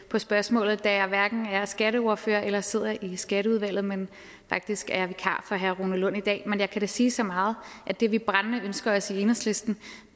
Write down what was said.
på spørgsmålet da jeg hverken er skatteordfører eller sidder i skatteudvalget men faktisk er vikar for herre rune lund i dag men jeg kan da sige så meget at det vi brændende ønsker os i enhedslisten